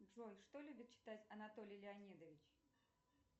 джой что любит читать анатолий леонидович